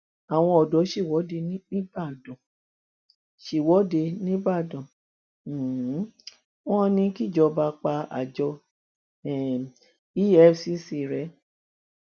àwọn ọdọ ṣèwọde nìgbàdàn ṣèwọde nìgbàdàn um wọn ní kíjọba pa àjọ um efcc rẹ